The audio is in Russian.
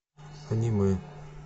аниме